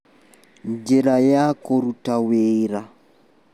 Njĩra ya kũruta wĩra